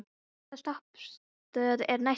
Svafar, hvaða stoppistöð er næst mér?